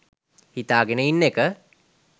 හිතාගෙන ඉන්න එක.